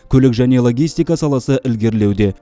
көлік және логистика саласы ілгерілеуде